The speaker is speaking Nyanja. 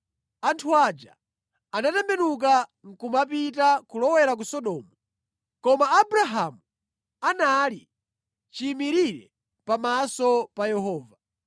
Anthu aja anatembenuka nʼkumapita, kulowera ku Sodomu, koma Abrahamu anali chiyimirire pamaso pa Yehova.